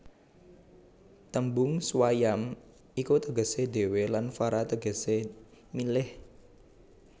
Tembung swayam iku tegesé dhéwé lan vara tegesé milih